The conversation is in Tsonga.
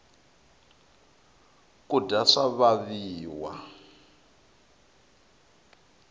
kudya swa vaviwa